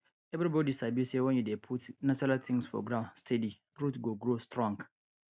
everybody sabi say when you dey put natural things for ground steady root go grow strong